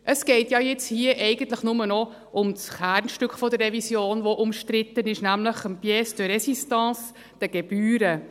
Es geht ja jetzt hier eigentlich nur noch um das Kernstück der Revision, das umstritten ist, nämlich die Pièce de Résistance, die Gebühren.